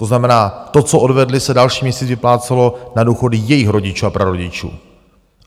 To znamená, to, co odvedli, se další měsíc vyplácelo na důchody jejich rodičů a prarodičů.